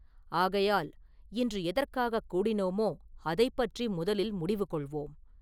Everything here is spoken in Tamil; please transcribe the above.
ஆகையால் இன்று எதற்காகக் கூடினோமோ அதைப் பற்றி முதலில் முடிவு கொள்வோம்.